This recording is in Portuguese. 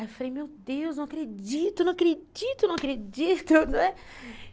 Aí eu falei, meu Deus, não acredito, não acredito, não acredito, não é?